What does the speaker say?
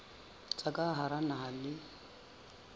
tsa ka hara naha le